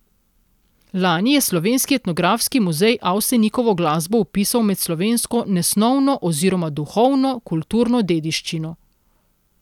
Lani je Slovenski etnografski muzej Avsenikovo glasbo vpisal med slovensko nesnovno oziroma duhovno, kulturno dediščino.